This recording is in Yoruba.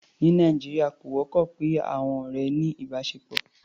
Ní Nàìjíríà, kò wọ́pọ̀ kí àọn ọ̀rẹ́ ní ìbáṣepọ̀.